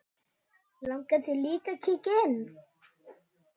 Langar þig að kíkja inn?